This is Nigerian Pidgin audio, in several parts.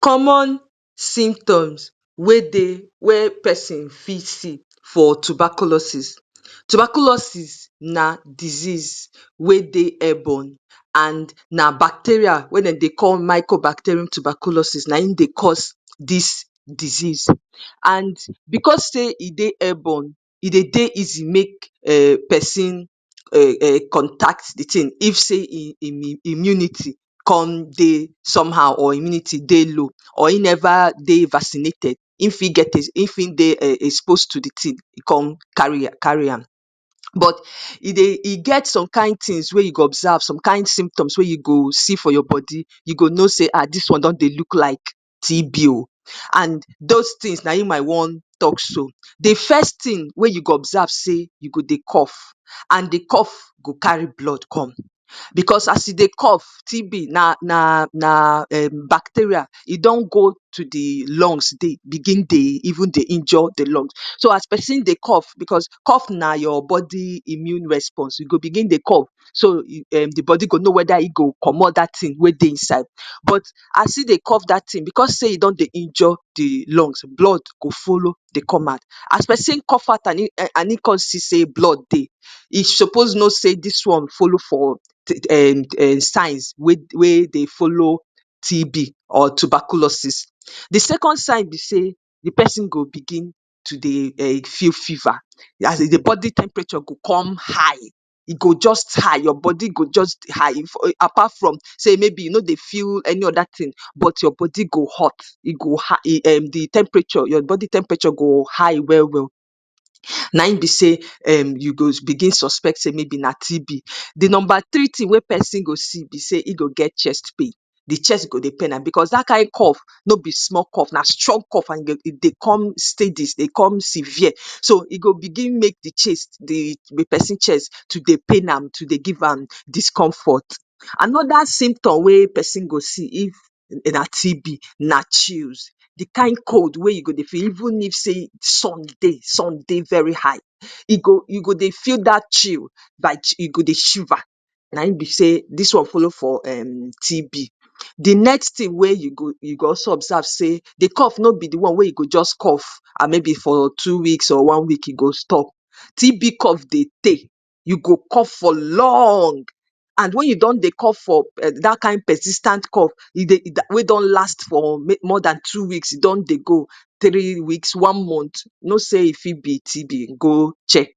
‎common simtoms wey dey wia persin fit see for tubaclosis tobaculoses na disease wey dey aiburn and na bacteria wey dem dey call miko bacterum tobaklosis na hin dey cause dis desease and becos say e dey aiborn e dey dey easy make a pesin a a contact di tin if say in im imunity com dey somehow or immunity dey low or in never dey vaccinated um in fit dey exposed to de tin come car carry am but e dey e get somekin tins wen u dey observe some kin sumptuous we u go see for your body u go no say ah dis one don dey look like tb o and does tins naim I wan talk so. de fest tin we u go observe say u go dey coff de coff go carry blood come bcos as u dey coff tb na na na [um[ bacteria e don go to de lungs dey go dey even bigin dey iinjure de lungs so as pesin dey coff bcos coff na your body immune response so u go begin dey coff so de body go no weda to comot dat tin wen dey inside but as in de coff dat tin bcos say e don dey injure de lungs blood go follo come out as pesin coff out and in come see say blood dey e suppose no say dis one follo for um um signs wen dey follo TB or tobacco is. de second sign be say de person go begin to dey um feel fever as in de body temperature go come high e go just high your body go jus high apart from saying maybe u no dey feel any other tin but you body go hot e go hi um de temperature your body temperature go high welwel naim be say mayb u go begin suspect say mayb na tb. de number tree tin we pesin go see be say in go get chest pain de chest go dey pain am bcos da kin coff no be small coff na strong an e dey come steady e dey com sevier so e go begin make de person cheat to dey pain am and go dey give am discomfort. Anida symptom we pesin go see if na tb na chills de kin cold we u go dey feel even if say sum dey sun dey very high u go dey feel dat chill like u go dey shiver naim be say dis one follow for um TB. de next time we u go also observe say dis coff no be de one we u go jus coff say mayb for one week or two weeks e go stop TB coff dey teey, u go coff for long and wen u don dey cof for um da kin persis ten t coff e dey we don last for more Dan two weeks don dey go tree weeks one month, no say e fit be TB, go check.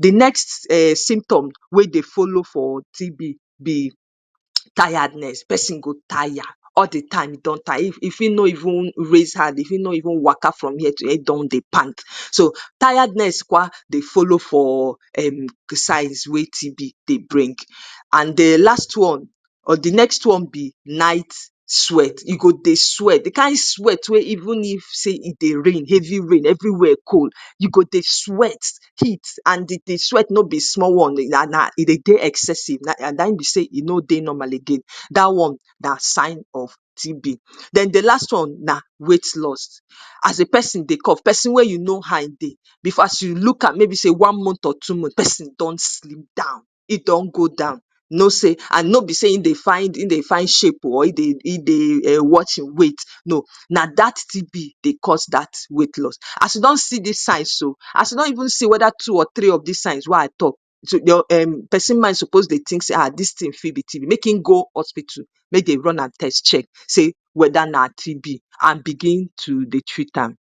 de next um symptom we dey follo for TB be tiredness pesin go Taya all de time e don taya e Fi no even raise hand waka from here to here in don dey pant so tiredness kwa dey follow fo signs we TB dey bring and de last one or de next on be night sweat u go dey sweat de kin sweat we be say even if heavy rain dey fall everywhere cold, u go dey sweat heat and de d sweat no be small one o e dey de excessive naim be say u no dey normal again dat one na sign of TB. Den de last one na weight lost as de pesin dey coff pesin wen u know how e dey as u look am mayb say one month or two mont person don slim down in don go down no say an no be say in dey find in dey find shape o e dey um watch e weight no na dat TB dey cos dat weight loss as u don see sis sign so as u don even see two or three of dis signs we I tok to your um pesin mind suppose dey tink say ah dis Rin fit be TB make in go ospitu make dey run am test check say weda na tb and begin to dey treat am